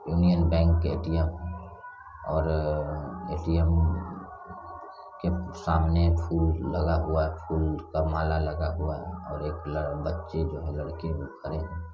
union Bank के ATM और अ ए_टी_म के सामने फूल लगा हुआ है फूल का माला लगा हुआ है और एक ल बच्चे जो है लड़के दिख रहे--